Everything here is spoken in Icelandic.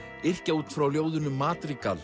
yrkja út frá ljóðinu